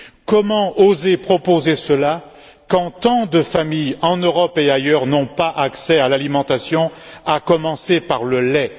Comment oser proposer cela, quand tant de familles, en Europe et ailleurs, n'ont pas accès à l'alimentation, à commencer par le lait!